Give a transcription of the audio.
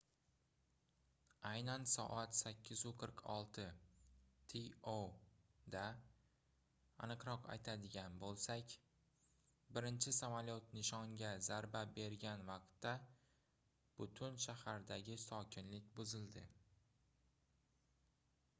aynan soat 8:46 to da aniqroq aytadigan bo'lsak birinchi samolyot nishoniga zarba bergan vaqtda butun shahardagi sokinlik buzildi